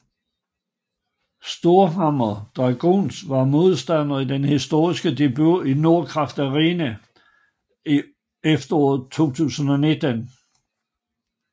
Storhamar Dragons var modstander i den historiske debut i Nordkraft Arena i efteråret 2019